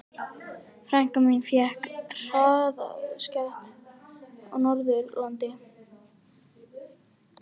Frænka mín fékk hraðasekt á Norðurlandi.